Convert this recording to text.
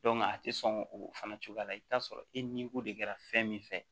a tɛ sɔn o fana cogoya la i bɛ t'a sɔrɔ e ni ko de kɛra fɛn min fɛ